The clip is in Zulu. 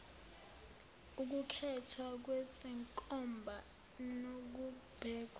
ukukhethwa kwezenkomba nokubekwa